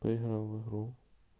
поиграем в игру